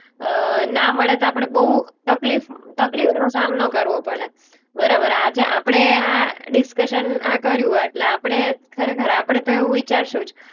અ ના મળે તો આપણે બોઉ તકલીફ, બરાબર છે. તકલીફનો સામનો કરવો પડે. બરાબર? આજે આપણે આ ડિસ્કશન આ કર્યું એટલે આપણે ખરેખર આપણે તો એવું વિચારશું જ.